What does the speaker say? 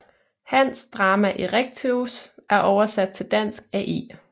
Hans Drama Erechteus er oversat til Dansk af E